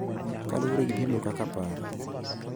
Kaluwore gi pimo kaka paro,